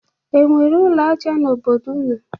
E nwere ụlọ aja n'obodo ụnụ?